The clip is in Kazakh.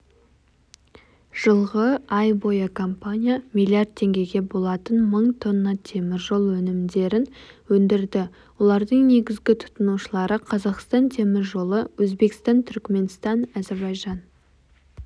жылғы ай бойыкомпания миллиард теңгеге болатын мың тонна темір жол өнімдерін өндірді олардың негізгі тұтынушылары қазақстан темір жолы өзбекстан түркіменстан әзербайжан